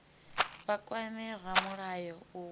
vha kwame ramulayo u wana